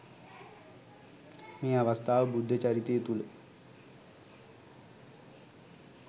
මේ අවස්ථාව බුද්ධචරිතය තුළ